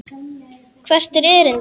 Hvert er erindi?